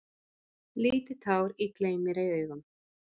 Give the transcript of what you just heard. Lítið tár í gleym-mér-ei-auga.